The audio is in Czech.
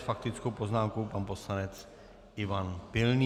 S faktickou poznámkou pan poslanec Ivan Pilný.